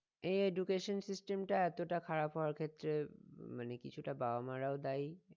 এ education system টা এতটা খারাপ হওয়ার ক্ষেত্রে মানে কিছুটা বাবা মারাও দায়ী